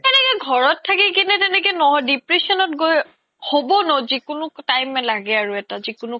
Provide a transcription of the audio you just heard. এনেকে ঘৰত থাকিলে ন depression গৈ হ্'ব ন জিকোনো time য়ে লাগে এটা জিকোনো